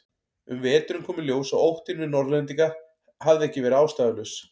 Um veturinn kom í ljós að óttinn við Norðlendinga hafði ekki verið ástæðulaus.